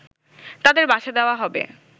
তাদের বাসা দেওয়া হবে